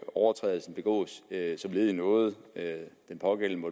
overtrædelsen begås som led i noget den pågældende